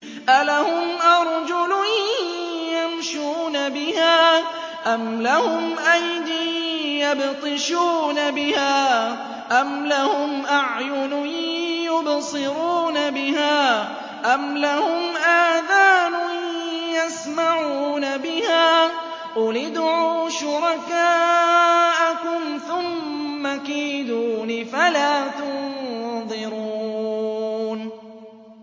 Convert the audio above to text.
أَلَهُمْ أَرْجُلٌ يَمْشُونَ بِهَا ۖ أَمْ لَهُمْ أَيْدٍ يَبْطِشُونَ بِهَا ۖ أَمْ لَهُمْ أَعْيُنٌ يُبْصِرُونَ بِهَا ۖ أَمْ لَهُمْ آذَانٌ يَسْمَعُونَ بِهَا ۗ قُلِ ادْعُوا شُرَكَاءَكُمْ ثُمَّ كِيدُونِ فَلَا تُنظِرُونِ